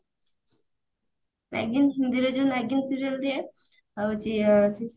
ନାଗିନ ହିନ୍ଦୀ ରେ ଯଉ ନାଗିନ serial ଦିଏ ହଉଛି